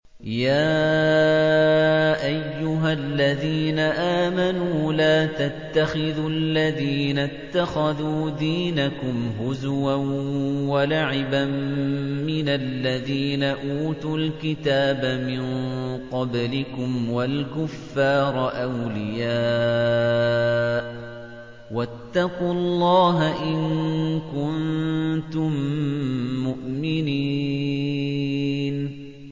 يَا أَيُّهَا الَّذِينَ آمَنُوا لَا تَتَّخِذُوا الَّذِينَ اتَّخَذُوا دِينَكُمْ هُزُوًا وَلَعِبًا مِّنَ الَّذِينَ أُوتُوا الْكِتَابَ مِن قَبْلِكُمْ وَالْكُفَّارَ أَوْلِيَاءَ ۚ وَاتَّقُوا اللَّهَ إِن كُنتُم مُّؤْمِنِينَ